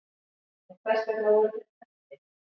en hvers vegna voru þeir drepnir